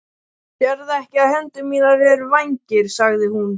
Sérðu ekki að hendur mínar eru vængir? sagði hún.